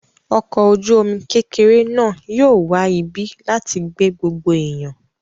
Ọkọ̀-ojúomi kékeré náà yóò wá ibi láti gbé gbogbo èèyàn